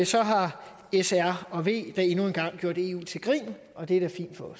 så har s r og v endnu en gang gjort eu til grin og det er